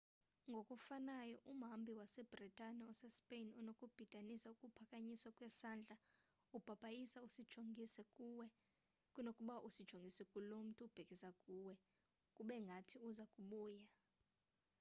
ngokufanayo umhambi wase-bhritane osespain unokubhidanisa ukuphakanyiswa kwesandla ubhabhayisa usijongise kuwe kunokuba usijongise kulo mntu ubhekisa kuwe kube ngathi uza kubuya